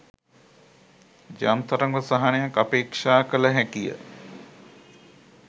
යම් තරමක සහනයක් අපේක්‍ෂා කළ හැකිය